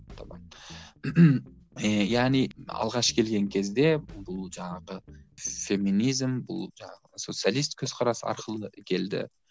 ііі яғни алғаш келген кезде бұл жаңағы феминизм бұл жаңағы социалистік көзқарас арқылы келді